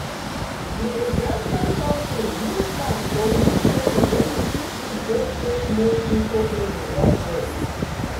di investment company use plan to release token wey you fit use trade take make crpto trading work well.